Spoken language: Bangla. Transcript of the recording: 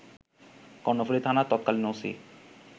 কর্ণফুলী থানার তৎকালীন ওসি